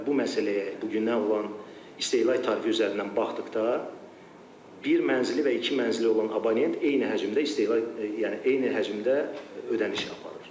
Bu məsələyə bugünkü olan istehlak tarifi üzərindən baxdıqda bir mənzili və iki mənzili olan abonent eyni həcmdə istehlak yəni eyni həcmdə ödəniş aparır.